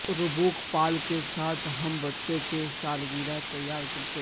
Reebok پال کے ساتھ ہم بچوں کی سالگرہ تیار کرتے ہیں